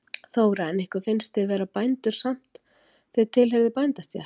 Þóra: En ykkur finnst þið vera bændur samt, þið tilheyrði bændastétt?